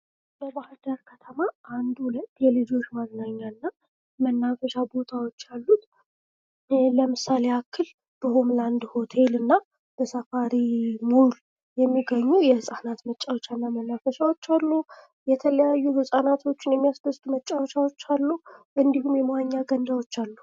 በባህር ዳር ከተማ 12 የልጆች መዝናኛና መናፈሻ ቦታዎች አሉ ለምሳሌ የአክል በሆም ለአንድና ሳፋሪ ሞል የሚገኙ ምጫወቻና መናፈሻዎች አሉ የተለያዩ ህጻናትን የሚያስደስቱ መጫወቻሉ እንዲሁም የመዋኘ ገንዳዎች አሉ።